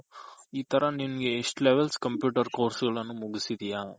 E ತರ ನಿನ್ಗೆ ಇಷ್ಟ್ Level computer course ಗಳನ್ ಮುಗ್ಸಿದ್ಯ